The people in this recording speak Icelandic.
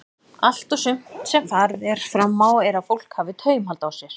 Allt og sumt sem farið er fram á er að fólk hafi taumhald á sér.